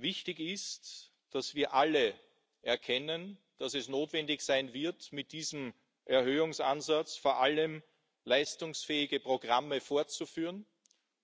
Wichtig ist, dass wir alle erkennen, dass es notwendig sein wird, mit diesem Erhöhungsansatz vor allem leistungsfähige Programme fortzuführen